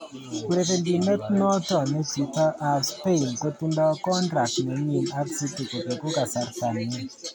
Urerenindet noto ne chito ab Spain kotindo kontract nenyin ak City kobegu kasarta ni.